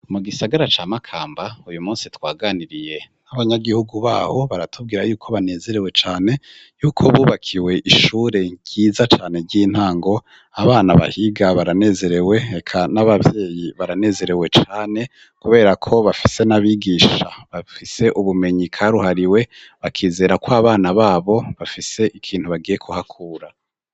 Mu gisagara ca Makamba, uyu munsi twaganiriye n'abanyagihugu baho, baratubwira yuko banezerewe cane yuko bubakiwe ishure ryiza cane ry'intango, abana bahiga baranezerewe, eka n'abavyeyi baranezerewe cane kuberako bafise n'abigisha bafise ubumenyi karuhariwe, bakizera ko abana babo bafise ikintu bagiye kuhakura.